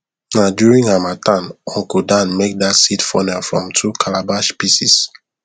na during harmattan uncle dan make that seed funnel from two calabash pieces